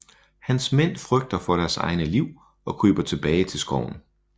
Hans mænd frygter for deres egne liv og kryber tilbage til skoven